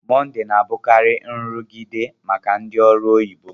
Mọndé na-abụkarị nrụgide maka ndị ọrụ oyibo